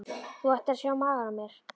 Þú ættir að sjá magann á mér.